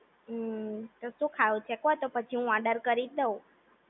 હમ્મ તો શું ખાવું છે કો તો પછી હું ઓર્ડર કરી દવ